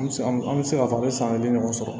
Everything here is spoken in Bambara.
An bɛ se an bɛ se k'a fɔ an bɛ san kelen ɲɔgɔn sɔrɔ